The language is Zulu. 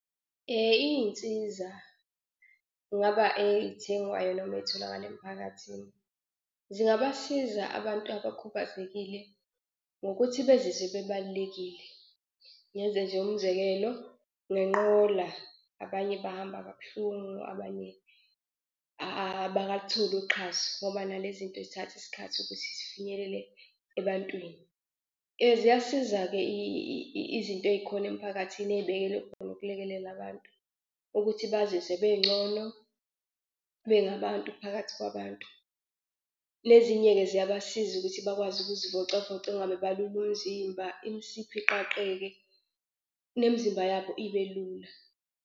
Iy'nsiza kungaba ey'thengwayo noma ezitholakala emiphakathini zingabasiza abantu abakhubazekile ngokuthi bezizwe bebalulekile. Ngenze nje umzekelo ngenqola abanye bahamba kabuhlungu abanye abakalutholi uxhaso ngoba nale zinto zithatha isikhathi ukuthi zifinyelele ebantwini. Ziyasiza-ke izinto ey'khona emphakathini ey'bekelwe khona ukulekelela abantu ukuthi bazizwe bengcono bengabantu phakathi kwabantu. Le zinye-ke ziyabasiza ukuthi bakwazi ukuzivocavoca engabe balule umzimba imisipha iqaqeke nemzimba yabo ibe lula.